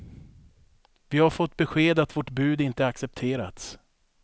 Vi har fått besked att vårt bud inte accepterats.